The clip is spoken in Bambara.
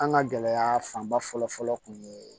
An ka gɛlɛya fanba fɔlɔ fɔlɔ kun ye